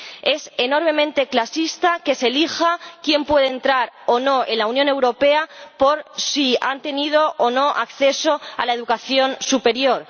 Es enormemente clasista que se elija quién puede entrar o no en la Unión Europea en función de si han tenido o no acceso a la educación superior.